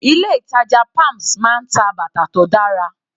Ilé ìtàjà palms máa ń ta bàtà tó dára.